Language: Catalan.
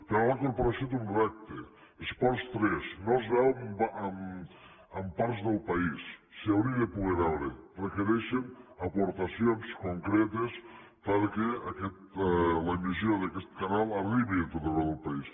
clar ara la corporació té un repte esports3 no es veu en parts del país s’hauria de poder veure requereix aportacions concretes perquè l’emissió d’aquest canal arribi a tot arreu del país